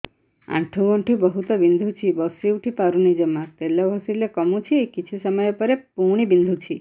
ଆଣ୍ଠୁଗଣ୍ଠି ବହୁତ ବିନ୍ଧୁଛି ବସିଉଠି ପାରୁନି ଜମା ତେଲ ଘଷିଲେ କମୁଛି କିଛି ସମୟ ପରେ ପୁଣି ବିନ୍ଧୁଛି